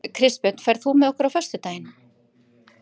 Kristbjörn, ferð þú með okkur á föstudaginn?